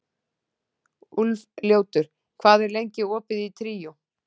Úlfljótur, hvað er lengi opið í Tríó?